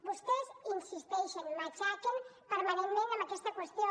vostès insisteixen matxaquen permanentment amb aquesta qüestió